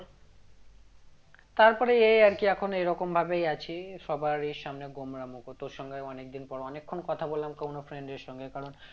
তারপরে এই আর কি এখন এরকম ভাবেই আছি সবারই সামনে গোমড়ামুখ তোর সঙ্গে অনেকদিন পর অনেকক্ষণ কথা বললাম কোনো friend এর সঙ্গে কারণ